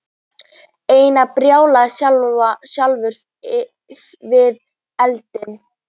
Einar barðist sjálfur við eldinn.